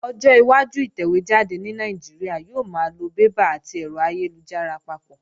Ọjọ́ iwájú ìtẹ̀wé jáde ní Nàìjíríà yóò máa lo bébà àti ẹ̀rọ ayélujára papọ̀